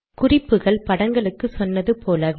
குறிப்புகள் படங்களுக்கு சொன்னது போலவே